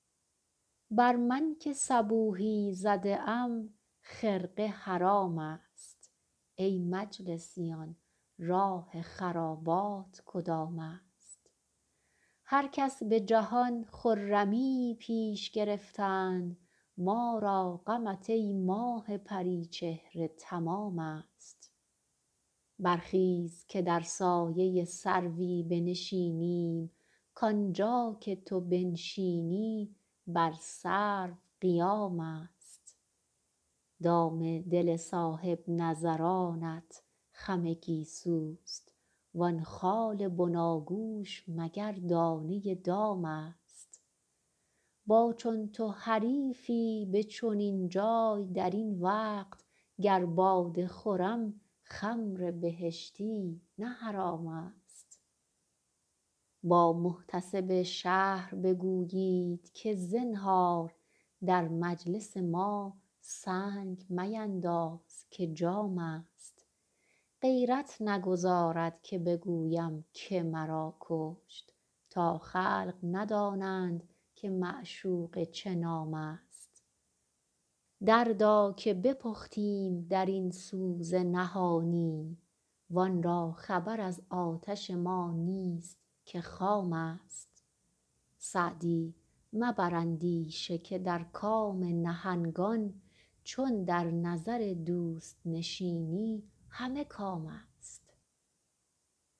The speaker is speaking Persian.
بر من که صبوحی زده ام خرقه حرام است ای مجلسیان راه خرابات کدام است هر کس به جهان خرمیی پیش گرفتند ما را غمت ای ماه پری چهره تمام است برخیز که در سایه سروی بنشینیم کانجا که تو بنشینی بر سرو قیام است دام دل صاحب نظرانت خم گیسوست وان خال بناگوش مگر دانه دام است با چون تو حریفی به چنین جای در این وقت گر باده خورم خمر بهشتی نه حرام است با محتسب شهر بگویید که زنهار در مجلس ما سنگ مینداز که جام است غیرت نگذارد که بگویم که مرا کشت تا خلق ندانند که معشوقه چه نام است دردا که بپختیم در این سوز نهانی وان را خبر از آتش ما نیست که خام است سعدی مبر اندیشه که در کام نهنگان چون در نظر دوست نشینی همه کام است